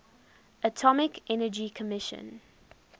atomic energy commission